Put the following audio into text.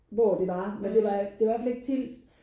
Hvor det var men det var det var i hvert fald ikke Tilst